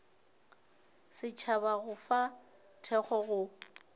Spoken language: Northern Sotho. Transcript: setšhaba go fa thekgo go